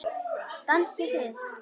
Dansið þið.